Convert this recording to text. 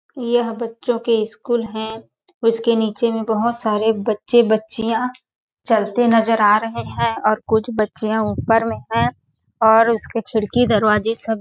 यह बच्चों के स्कूल है उसके नीचे में बहुत सारे बच्चें बच्चियां चलते नज़र आ रहे है और कुछ बच्चियां ऊपर में हैं और उसके खिड़की दरवाज़े सब --